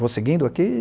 Vou seguindo aqui?